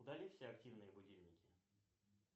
удали все активные будильники